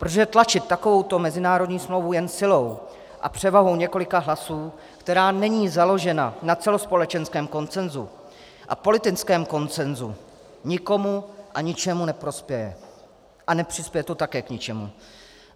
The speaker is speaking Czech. Protože tlačit takovouto mezinárodní smlouvu jen silou a převahou několika hlasů, která není založena na celospolečenském konsenzu a politickém konsenzu, nikomu a ničemu neprospěje a nepřispěje to také k ničemu.